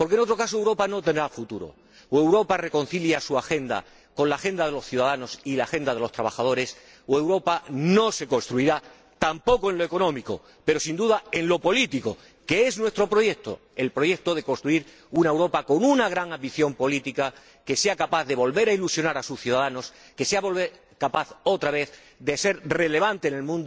Porque, en otro caso, Europa no tendrá futuro o Europa reconcilia su agenda con la agenda de los ciudadanos y la agenda de los trabajadores o Europa no se construirá tampoco en lo económico, pero sin duda no lo hará en lo político, que es nuestro proyecto, el proyecto de construir una Europa con una gran ambición política que sea capaz de volver a ilusionar a sus ciudadanos, que sea capaz, otra vez, de ser relevante en el